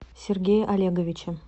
сергее олеговиче